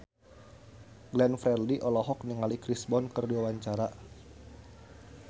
Glenn Fredly olohok ningali Chris Brown keur diwawancara